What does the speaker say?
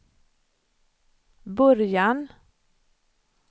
början